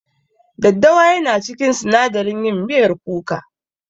Daddawa yana cikin sinadaran yin miyar kuka.